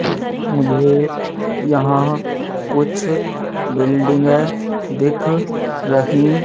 मुझे यहां कुछ बिल्डिंगे दिख रहीं--